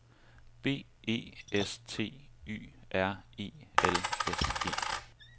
B E S T Y R E L S E